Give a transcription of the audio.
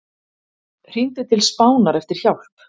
Hringdi til Spánar eftir hjálp